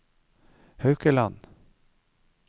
Haukeland